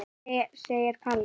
segir Palli.